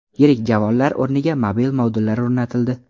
Yirik javonlar o‘rniga mobil modullar o‘rnatildi.